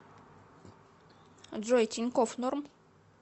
джой тинькофф норм